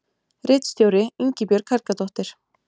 Ritstjóri Ingibjörg Helgadóttir.